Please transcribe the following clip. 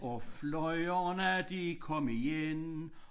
Og flyverne de kom igen